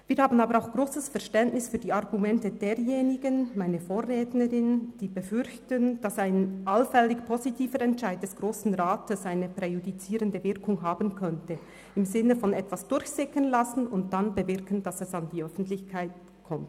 Wir haben aber auch grosses Verständnis für die Argumente derjenigen – wie von meiner Vorrednerin –, die befürchten, dass ein allfälliger positiver Entscheid des Grossen Rats eine präjudizierende Wirkung haben könnte im Sinne von etwas durchsickern lassen und dann bewirken, dass es an die Öffentlichkeit kommt.